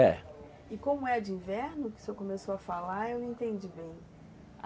É. E como é a de inverno, que o senhor começou a falar, eu não entendi bem.